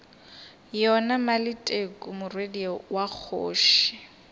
yona maleteku morwedi wa kgoši